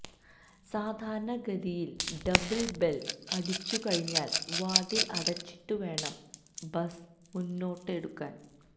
സാധാരണ ഗതിയില് double bell അടിച്ചുകഴിഞ്ഞാല് വാതില് അടച്ചിട്ട് വേണം ബസ് മുന്നോട്ടെടുക്കാന്